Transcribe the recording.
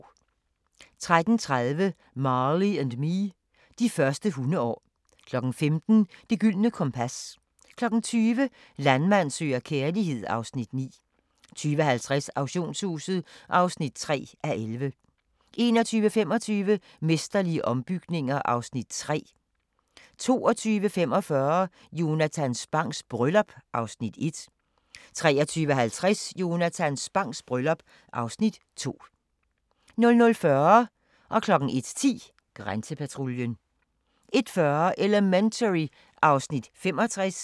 13:30: Marley & Me: De første hundeår 15:00: Det Gyldne Kompas 20:00: Landmand søger kærlighed (Afs. 9) 20:50: Auktionshuset (3:11) 21:25: Mesterlige ombygninger (Afs. 3) 22:45: Jonatan Spangs bryllup (Afs. 1) 23:50: Jonatan Spangs bryllup (Afs. 2) 00:40: Grænsepatruljen 01:10: Grænsepatruljen 01:40: Elementary (Afs. 65)